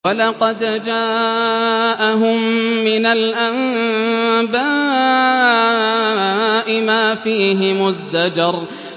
وَلَقَدْ جَاءَهُم مِّنَ الْأَنبَاءِ مَا فِيهِ مُزْدَجَرٌ